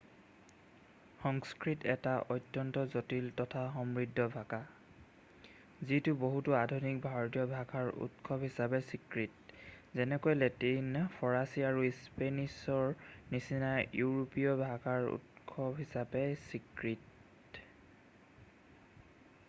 সংস্কৃত এটা অত্যন্ত জটিল তথা সমৃদ্ধ ভাষা যিটো বহুতো আধুনিক ভাৰতীয় ভাষাৰ উৎস হিচাপে স্বীকৃত যেনেকৈ লেটিন ফৰাছী আৰু স্পেনিছৰ নিচিনা ইউৰোপীয় ভাষাৰ উৎস হিচাপে স্বীকৃত